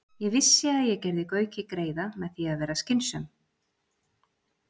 . Ég vissi að ég gerði Gauki greiða með því að vera skynsöm.